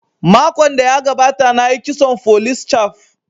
Makon da ya gabata na yi kitson folis caf